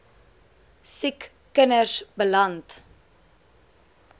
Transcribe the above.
siek kinders beland